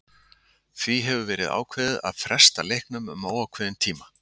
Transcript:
Því hefur verið ákveðið að fresta leiknum um óákveðinn tíma.